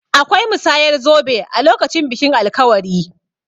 Akwai musayar zobe a lokacin bikin alkawari.